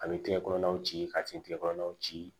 A bɛ tigɛ kɔnɔnaw ci ka tin kile kɔnɔnaw ci